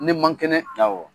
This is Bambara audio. Ne man kɛnɛ.